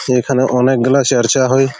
সেইখানে অনেক গুলা চর্চা হয়।